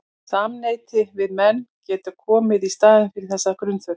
Samneyti við menn getur ekki komið í staðinn fyrir þessa grunnþörf.